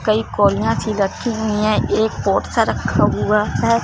कई कोरिया सी रखी हुई है एक पोट सा रखा हुआ है।